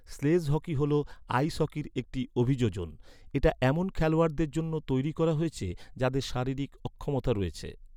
Sledge hockey হ’ল, ice হকির একটি অভিযোজন। এটা এমন খেলোয়াড়দের জন্য তৈরি করা হয়েছে, যাদের শারীরিক অক্ষমতা রয়েছে।